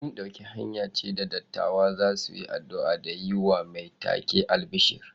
Yin dauki hanya ce da dattawa za su yi addu’a da yi wa mai take albishir.